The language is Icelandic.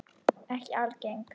Ekki algeng.